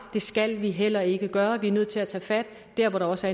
det skal vi heller ikke gøre vi er nødt til at tage fat dér hvor der også